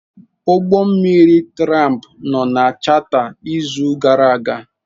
Ụgbọ mmiri tramp nọ na chata n'izu gara aga.